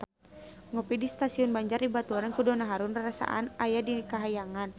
Ngopi di Stasiun Banjar dibaturan ku Donna Harun rarasaan aya di kahyangan